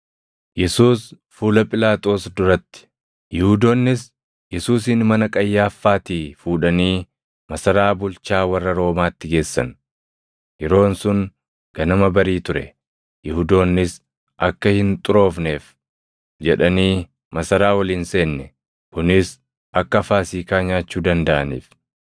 Yihuudoonnis Yesuusin mana Qayyaaffaatii fuudhanii masaraa bulchaa warra Roomaatti geessan. Yeroon sun ganama barii ture; Yihuudoonnis akka hin xuroofneef jedhanii masaraa ol hin seenne; kunis akka Faasiikaa nyaachuu dandaʼaniif.